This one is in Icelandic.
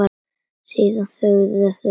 Síðan þögðu þau um hríð.